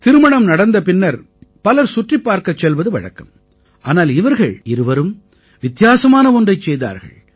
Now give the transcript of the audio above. திருமணம் நடந்த பின்னர் பலர் சுற்றிப் பார்க்கச் செல்வது வழக்கம் ஆனால் இவர்கள் இருவரும் வித்தியாசமான ஒன்றைச் செய்தார்கள்